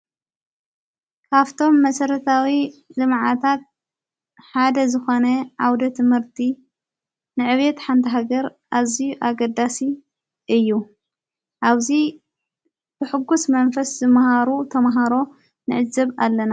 ካፍቶም መሠረታዊ ልመዓታት ሓደ ዝኾነ ዓውደ ትምህርቲ ንዕቤት ሓንታሃገር ኣዙይ ኣገዳሲ እዩ። ኣብዙይ ብሕጉስ መንፈስ ዝመሃሩ ተምሃሮ ነዕዘብ ኣለና።